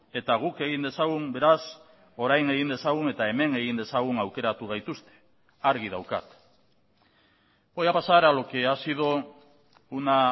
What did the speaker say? eta guk egin dezagun beraz orain egin dezagun eta hemen egin dezagun aukeratu gaituzte argi daukat voy a pasar a lo que ha sido una